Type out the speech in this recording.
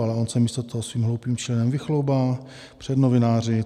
Ale on se místo toho svým hloupým činem vychloubá před novináři.